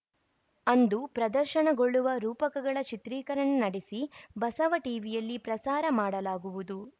ಅಂದು ಪ್ರದರ್ಶನಗೊಳ್ಳುವ ರೂಪಕಗಳ ಚಿತ್ರೀಕರಣ ನಡೆಸಿ ಬಸವ ಟಿವಿಯಲ್ಲಿ ಪ್ರಸಾರ ಮಾಡಲಾಗುವುದು